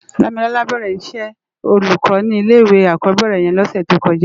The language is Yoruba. Damilola bèrè iṣè ólúkò ni ilé iwé ákòbèrè yèn lòsè tókòjá